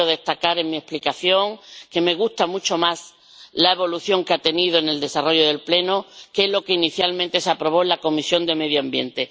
Quiero destacar en mi explicación que me gusta mucho más la evolución que ha tenido en el desarrollo del Pleno que lo que inicialmente se aprobó en la Comisión de Medio Ambiente.